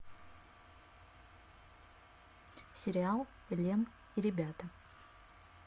сериал элен и ребята